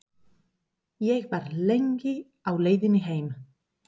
Ég var lengi á leiðinni heim.